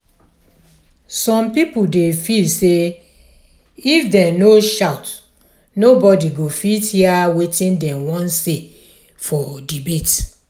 some people dey feel sey if dem no shout nobody go fit hear wetin dem wan say for debate.